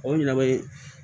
O ɲɛna o ye